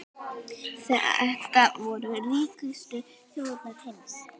Þetta voru ríkustu þjóðir heims.